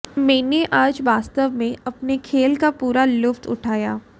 मैंने आज वास्तव में अपने खेल का पूरा लुत्फ उठाया